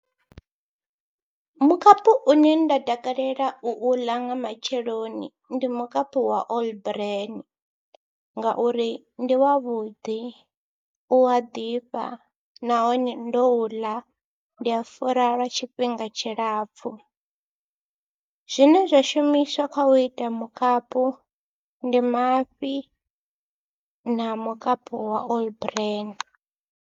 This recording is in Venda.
Mukapu une nda takalela u u ḽa nga matsheloni, ndi mukapu wa All Bran ngauri ndi wavhuḓi, u a ḓifha nahone ndo u ḽa ndi a fura lwa tshifhinga tshilapfhu. Zwine zwa shumiswa kha u ita mukapu ndi mafhi na mukapu wa All Bran.